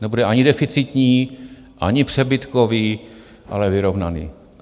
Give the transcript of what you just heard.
Nebude ani deficitní, ani přebytkový, ale vyrovnaný.